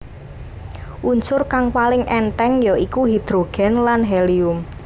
Unsur kang paling èntheng ya iku hidrogen lan helium